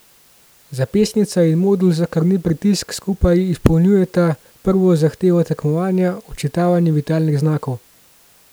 Zapestnica in modul za krvni pritisk skupaj izpolnjujeta prvo zahtevo tekmovanja, odčitavanje vitalnih znakov.